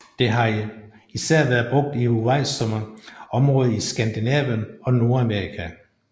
Det har især været brugt i uvejsomme områder i Skandinavien og Nordamerika